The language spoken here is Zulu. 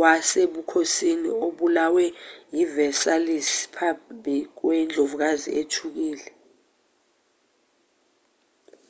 wasebukhosini obulawe eversailles phambi kwendlovukazi ethukile